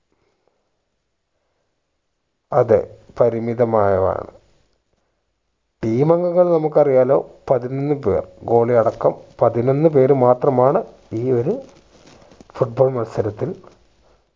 അതെ പരിമിതമായതാണ് team അംഗങ്ങൾ നമ്മക്ക് അറിയാലോ പതിനൊന്നു പേർ goalie അടക്കം പതിനൊന്നു പേർ മാത്രമാണ് ഈ ഒരു foot ball മത്സരത്തിൽ